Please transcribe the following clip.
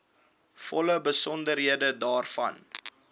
volle besonderhede daarvan